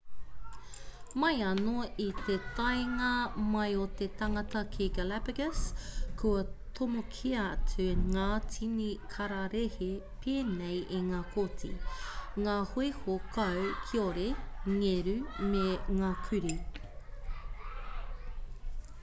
mai anō i te taenga mai o te tangata ki galapagos kua tomokia atu ngā tini kararehe pēnei i ngā koti ngā hoiho kau kiore ngeru me ngā kurī